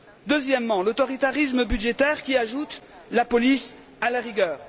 Deuxième réserve l'autoritarisme budgétaire, qui ajoute la police à la rigueur.